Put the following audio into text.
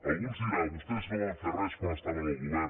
algú ens deurà dir vostès no van fer res quan estaven al govern